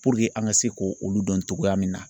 Puruke an ka se ko olu dɔn togoya min na.